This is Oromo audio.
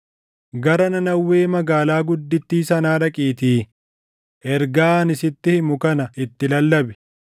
“Gara Nanawwee magaalaa guddittii sanaa dhaqiitii ergaa ani sitti himu kana itti lallabi.”